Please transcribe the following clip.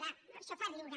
va això fa riure